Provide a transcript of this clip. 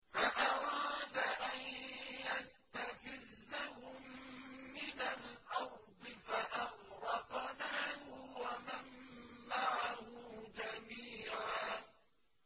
فَأَرَادَ أَن يَسْتَفِزَّهُم مِّنَ الْأَرْضِ فَأَغْرَقْنَاهُ وَمَن مَّعَهُ جَمِيعًا